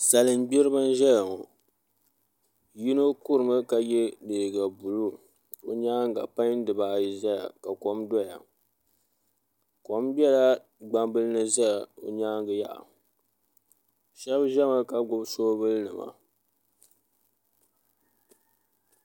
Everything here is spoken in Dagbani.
salin gbiriba n-ʒeya ŋɔ yino kurimi ka ye liiga buluu o nyaaŋa panyi dibaa ayi zeya ka kom doya kom bela gbambila ni zeya o nyaaŋa yaha shɛba ʒemi ka gbubi soobulinima